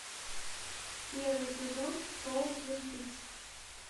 первый сезон шоу твин пикс